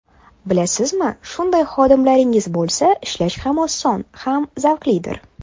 Bilasizmi, shunday xodimlaringiz bo‘lsa ishlash ham oson, ham zavqlidir.